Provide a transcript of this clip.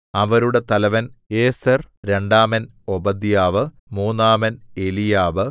അവരുടെ തലവൻ ഏസെർ രണ്ടാമൻ ഓബദ്യാവ് മൂന്നാമൻ എലീയാബ്